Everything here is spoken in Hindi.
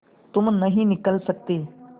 तुम नहीं निकल सकते